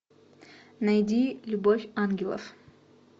найди любовь ангелов